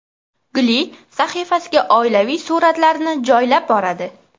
Guli sahifasiga oilaviy suratlarini joylab boradi.